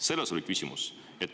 Selles oli küsimus.